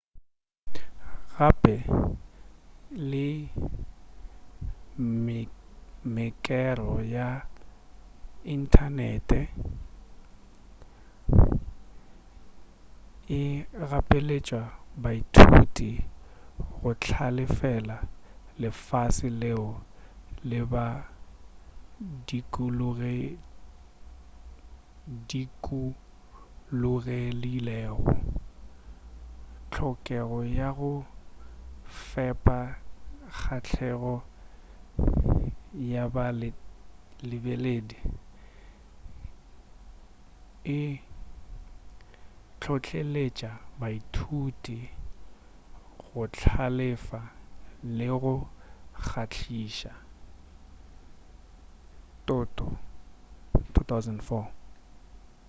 gape le mekero ya inthanene e gapeletša baithuti go hlalefela lefase leo le ba dukulogilego. hlokego ya go fepa kgahlego ya ba lebeledi e hlohleletša baithuti go hlalefa le go kgahliša toto 2004